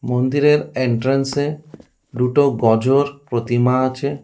মন্দিরের এন্ট্রান্স এ দুটো গজর প্রতিমা আছে।